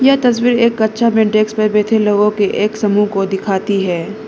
यह तस्वीर एक कक्षा में डेस्क पे बैठे लोगों की एक समूह को दिखाती है।